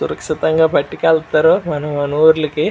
సురక్షితంగా పట్టికెళ్తారు. మనం మన ఊర్లకి.